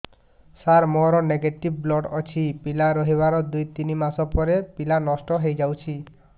ସାର ମୋର negative blood ଅଛି ପିଲା ରହିବାର ଦୁଇ ତିନି ମାସ ପରେ ପିଲା ନଷ୍ଟ ହେଇ ଯାଉଛି